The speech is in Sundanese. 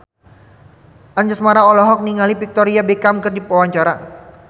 Anjasmara olohok ningali Victoria Beckham keur diwawancara